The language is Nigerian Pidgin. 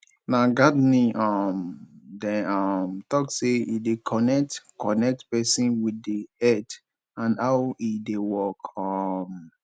na gardening um dem um talk sey e dey connect connect pesin with di earth and how e dey work um